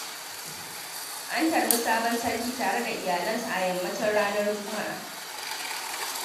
An tarbi sabon sarkin tare da iyalansa a yammacin ranar Juma'a.